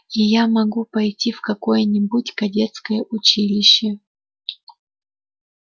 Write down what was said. и я могу пойти в какое-нибудь кадетское училище